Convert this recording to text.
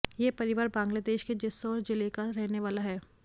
यह परिवार बांग्लादेश के जेस्सोर जिले का रहने वाला है